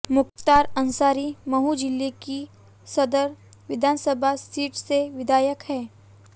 मुख्तार अंसारी मऊ जिले की सदर विधानसभा सीट से विधायक हैं